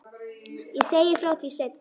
Ég segi frá því seinna.